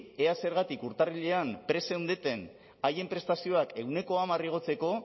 ea zergatik urtarrilean prest zeundeten haien prestazioak ehuneko hamar igotzeko